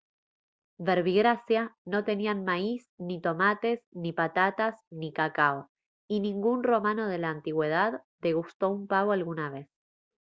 verbigracia no tenían maíz ni tomates ni patatas ni cacao y ningún romano de la antigüedad degustó un pavo alguna vez